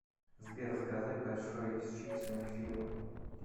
сбер заказать большой с чипсами к фильму